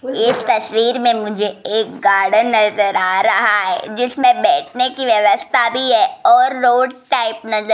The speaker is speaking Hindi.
इस तस्वीर में मुझे एक गार्डन नजर आ रहा है जिसमें बैठने की व्यवस्था भी है और रोड टाइप नजर --